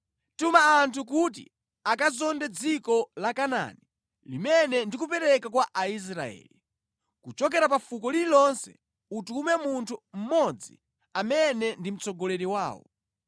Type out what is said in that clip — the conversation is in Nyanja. “Tuma anthu kuti akazonde dziko la Kanaani limene ndikupereka kwa Aisraeli. Kuchokera pa fuko lililonse utume munthu mmodzi amene ndi mtsogoleri wawo.”